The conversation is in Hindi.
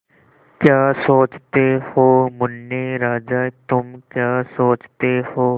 क्या सोचते हो मुन्ने राजा तुम क्या सोचते हो